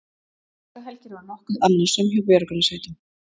Páskahelgin var nokkuð annasöm hjá björgunarsveitum